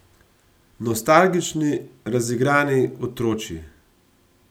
Nostalgični, razigrani, otročji.